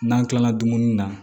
N'an kilala dumuni na